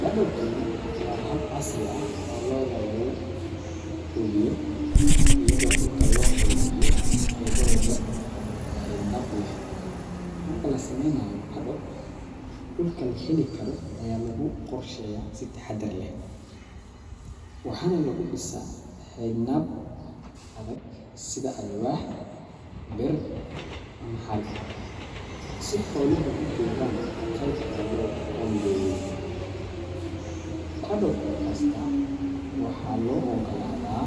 Paddocking waa hab casri ah oo lo’da lagu quudiyo iyadoo dhulka loo qaybiyo qaybo yar yar oo xayndaab leh. Marka la sameynayo paddock, dhulka la heli karo ayaa lagu qorsheeyaa si taxaddar leh, waxaana lagu dhisaa xayndaab adag sida alwaax, bir, ama xarig, si xooluhu u joogaan qaybta loo qoondeeyey. Paddock kasta waxaa loo oggolaadaa